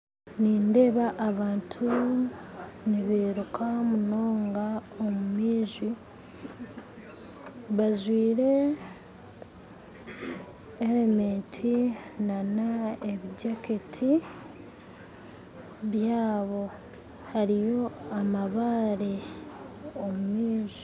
Nindeeba abantu nibairuka munonga omu maizi bajwire helemeti n'ebijaketi byaabo hariyo amabaare omu maizi